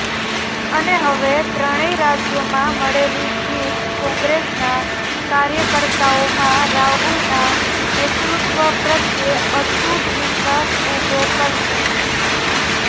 અને હવે ત્રણેય રાજ્યોમાં મળેલી જીત કોંગ્રેસના કાર્યકર્તાઓમાં રાહુલના નેતૃત્વ પ્રત્યે અતૂટ વિશ્વાસ ઉભો કરશે